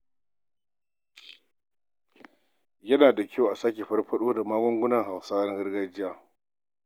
Yana da muhimmanci a sake farfaɗo da magungunan Hausawa na gargajiya.